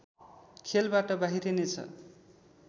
खेलबाट बाहिरिने छ